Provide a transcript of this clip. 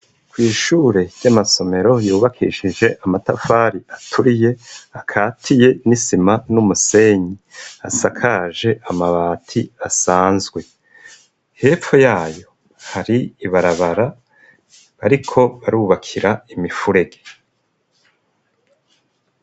Kw'ishure ry'amasomero yubakishije amatafari aturiye akatiye n'isima n'umusenyi. Asakaje amabati asanzwe. Hepfo yayo hari ibarabara bariko barubakira imifurege.